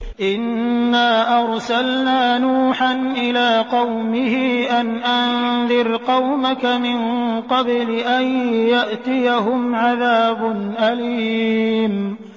إِنَّا أَرْسَلْنَا نُوحًا إِلَىٰ قَوْمِهِ أَنْ أَنذِرْ قَوْمَكَ مِن قَبْلِ أَن يَأْتِيَهُمْ عَذَابٌ أَلِيمٌ